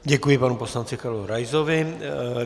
Děkuji panu poslanci Karlu Raisovi.